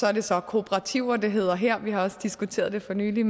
er det så kooperativer det hedder her vi har også diskuteret det for nylig i